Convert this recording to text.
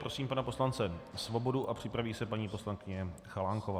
Prosím pana poslance Svobodu a připraví se paní poslankyně Chalánková.